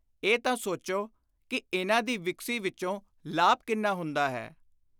ਇਹ ਤਾਂ ਸੋਚੋ ਕਿ ਇਨ੍ਹਾਂ ਦੀ ਵਿਕਰੀ ਵਿਚੋਂ ਲਾਭ ਕਿੰਨਾ ਹੁੰਦਾ ਹੈ।